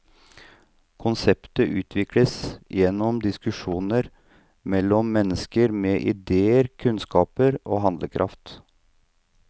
Konseptet utvikles gjennom diskusjoner mellom mennesker med idéer, kunnskaper og handlekraft.